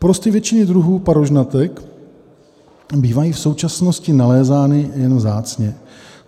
Porosty většiny druhů parožnatek bývají v současnosti nalézány jen vzácně.